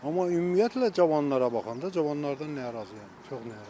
Amma ümumiyyətlə, cavanlara baxanda cavanlardan narazıyam, çox narazıyam.